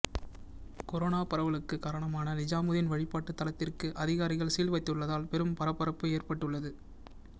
corona பரவலுக்கு காரணமான நிஜாமுதீன் வழிப்பாட்டு தலத்திற்கு அதிகாரிகள் சீல் வைத்துள்ளதால் பெரும் பரபரப்பு ஏற்பட்டுள்ளது